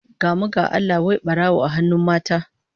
Gamu ga Allah, wai barawo a hannun mata!